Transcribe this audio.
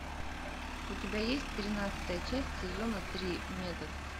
у тебя есть тринадцатая часть сезона три метод